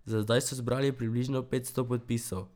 Za zdaj so zbrali približno petsto podpisov.